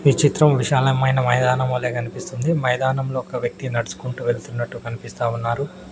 ఈ చిత్రం విశాలమైన మైదానం వలె కనిపిస్తుంది మైదానంలో ఒక వ్యక్తి నడుచుకుంటూ వెళ్తున్నట్టు కనిపిస్తా ఉన్నారు.